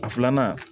A filanan